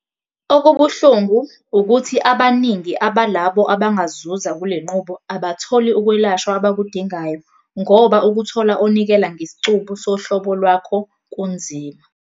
Okubuhlungu, ukuthi abaningi balabo abangazuza kule nqubo abatholi ukwelashwa abakudingayo ngoba ukuthola onikela ngesicubu sohlobo lwakho kunzima.